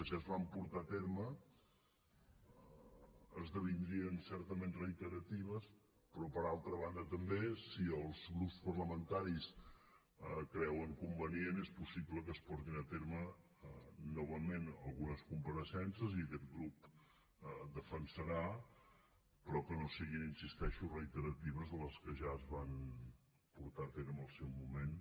si es van portar a terme esdevindrien certament reiteratives però per altra banda també si els grups parlamentaris ho creuen convenient és possible que es portin a terme novament algunes compareixences i aquest grup ho defensarà però que no siguin hi insisteixo reiteratives amb les que ja es van portar a terme en el seu moment